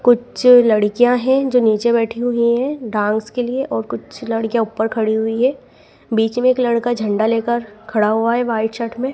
कुछ लड़कियां हैं जो नीचे बैठी हुई हैं डांस के लिए और कुछ लड़कियां ऊपर खड़ी हुई है बीच में एक लड़का झंडा लेकर खड़ा हुआ है वाइट शर्ट में।